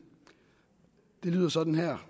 det lyder sådan her